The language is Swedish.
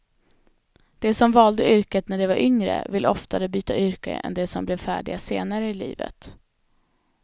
De som valde yrket när de var yngre, vill oftare byta yrke än de som blev färdiga senare i livet.